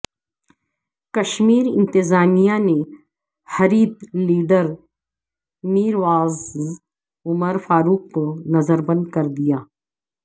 کشمیر انتظامیہ نے حریت لیڈرمیرواعظ عمر فاروق کو نظربند کردیا